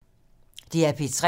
DR P3